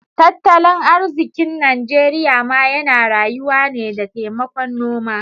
Tattalin arzikin Najeriya ma yana rayuwa ne da taimakon noma.